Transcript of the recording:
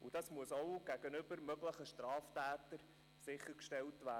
Diese müssen auch gegenüber möglichen Straftätern sichergestellt werden.